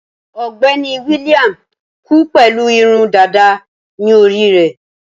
Ọ̀gbẹ́ni William kú pẹ̀lú irun dàda ní orí rẹ̀.